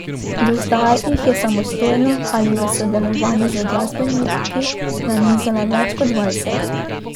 Do zdaj jih je samostojno ali v sodelovanju z glasbeniki nanizala več kot dvajset.